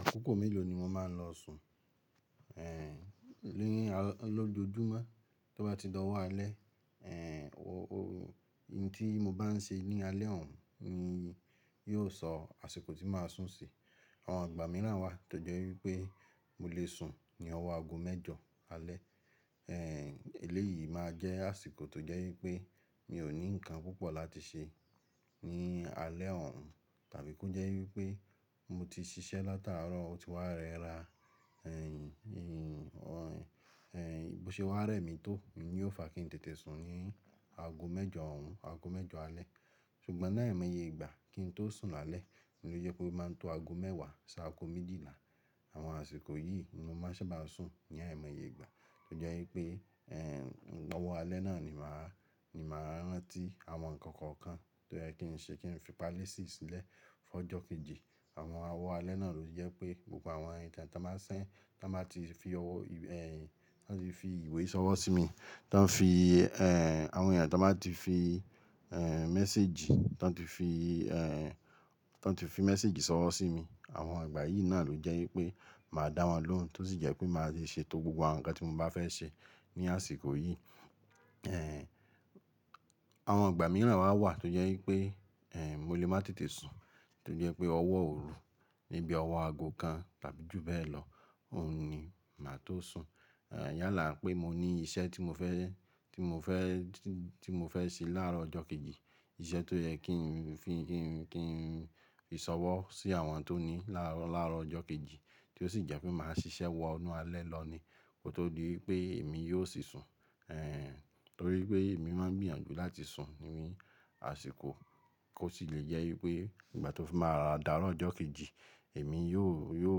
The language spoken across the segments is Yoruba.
Àkókò mélòó ni mo máa ń lọ sùn? Ni aró, lójojúmọ́, tí ó bá ti dọ̀wọ́ alẹ́, ohun tí mo bá ń ṣe ní alẹ́ òun ni yóò sọ àsìkò tí màá sùn sí. Àwọn ìgbà mìíràn wà tó jẹ́ wípé mo lè sùn ní ọwọ́ aago mẹ́jọ alẹ́. Ẹlẹ́yìí máa jẹ́ àsìkò tó jẹ́ wípé mi ò ní nǹkan púpọ̀ láti ṣe ní alẹ́ òun, tàbí kí ó jẹ́ wípé mo ti ṣiṣẹ́ látàárọ̀ ó ti wá rẹra, bí ó ṣe wá rẹ mi tó, ìdí yóò fa kí n tètè sùn ní aago mẹ́jọ òhún, aago mẹ́jọ alẹ́. Ṣùgbọ́n láì mọye ìgbà kín tó sùn lálẹ́ ni ó jẹ́ kó máa ń to aago mẹ́wàá sí aago méjìlá. Àwọn àsìkò yìí ni mo máa ń ṣe bá sùn, ní àìmọye ìgbà. Tó jẹ́ wípé, ẹ̀, ọwọ́ alẹ́ náà ni màá, ni màá rántí àwọn nǹkan kọ̀ọ̀kan tó yẹ kí n ṣe, kí n fi pálíìsì sílẹ̀ fún ọjọ́ kejì. Àwọn ọwọ́ alẹ́ náà ló jẹ́ pé gbogbo àwọn ìtàn tí wọ́n bá ti fi ìwé sọwọ́ sí mi, tí wọ́n fi, àwọn èèyàn tí wọ́n bá ti fi, méséjì, tí wọ́n ti fi, tí wọ́n ti fi méséjì sọwọ́ sí mi, àwọn ìgbà yìí náà ló jẹ́ wípé màá dá wọn lóhùn, tó sì jẹ́ pé màá ṣe ètò gbogbo àwọn nǹkan tí mo bá fẹ́ ṣe ní àsìkò yìí. Àwọn ìgbà mìíràn wà tó jẹ́ wípé, mo lè má tètè sùn, tó jẹ́ pé ọwọ́ òru níbi ọwọ́ aago kan tàbí jù bẹ́ẹ̀ lọ, òun ni màá tó sùn. Yálà pé mo ní iṣẹ́ tí mo fẹ́, tí mo fẹ́, tí mo fẹ́ ṣe láàárọ̀ ọjọ́ kejì, iṣẹ́ tó yẹ kí n fi, kí n, kí n ṣọwọ́ sí àwọn tó ní i láàárọ̀ ọjọ́ kejì, tí ó sì jẹ́ pé màá ṣiṣẹ́ wọ inú alẹ́ lọ ni, kó tó di wípé èmi yóò sì sùn. Torí pé èmi máa ń gbìyànjú láti sùn ní àsìkò, kó sì lè jẹ́ wípé ìgbà tí ó fi máa d'aàrọ̀ ọjọ́ kejì, èmi yóò, yóò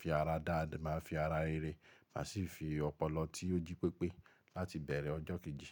fi ara dá, máa fi ara rere, màá sì fi ọpọlọ tí ó jí pépé láti bẹ̀rẹ̀ ọjọ́ kejì.